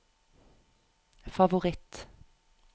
favoritt